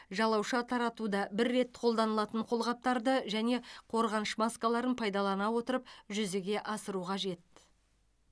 жалауша таратуда бір рет қолданылатын қолғаптарды және қорғаныш маскаларын пайдалана отырып жүзеге асыру қажет